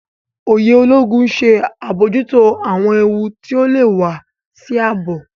Òye Ológun ń ṣe abojuto awọn éwu ti ọ lè wà sí ààbò